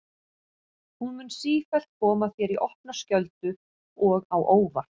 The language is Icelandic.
Hún mun sífellt koma þér í opna skjöldu og á óvart.